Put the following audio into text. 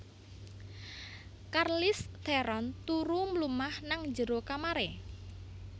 Charlize Theron turu mlumah nang njero kamare